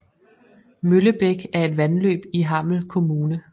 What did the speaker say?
Møllebæk er et vandløb i Hammel Kommune